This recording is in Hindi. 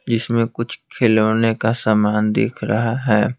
जिसमें कुछ खिलौने का सामान दिख रहा है।